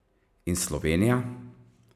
In Slovenija?